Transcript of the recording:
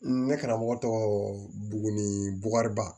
Ne karamɔgɔ tɔgɔ buguni buwariba